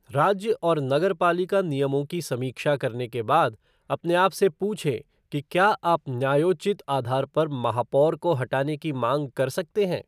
राज्य और नगरपालिका नियमों की समीक्षा करने के बाद, अपने आप से पूछें कि क्या आप न्यायोचित आधार पर महापौर को हटाने की माँग कर सकते हैं।